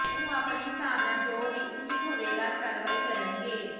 ਉਹ ਅਪਣੇ ਹਿਸਾਬ ਨਾਲ ਜੋ ਵੀ ਉਚਿਤ ਹੋਵੇਗਾ ਕਾਰਵਾਈ ਕਰਨਗੇ